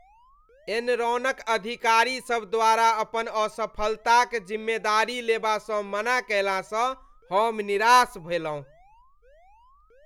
एनरॉनक अधिकारी सब द्वारा अपन असफलताक जिम्मेदारी लेबासँ मना कयलासँ हम निराश भेलहुँ ।